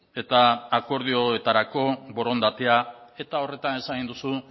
eta akordioetarako borondatea eta horretan esan duzu